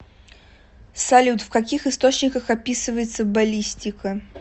салют в каких источниках описывается баллистика